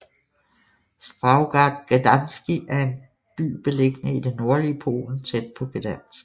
Starogard Gdański er by beliggende i det nordlige Polen tæt på Gdańsk